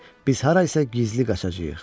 Biz hara isə gizli qaçacağıq.